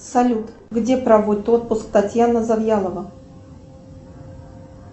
салют где проводит отпуск татьяна завьялова